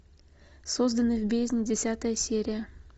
созданный в бездне десятая серия